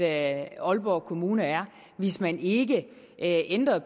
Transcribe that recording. at aalborg kommune er hvis man ikke ændrede